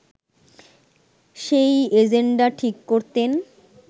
সেই এজেন্ডা ঠিক করতেন